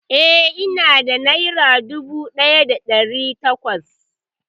Eh, ina da nera dubu ɗaya da ɗari takwas